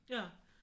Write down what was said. Ja